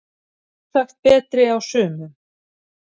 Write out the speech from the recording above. Sjálfsagt betri á sumum